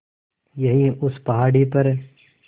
यहीं उस पहाड़ी पर